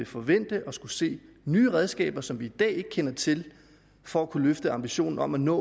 forvente at se nye redskaber som vi i dag ikke kender til for at kunne løfte ambitionen om at nå